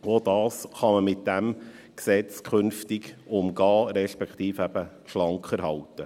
Auch dies kann man mit diesem Gesetz künftig umgehen, respektive eben schlanker halten.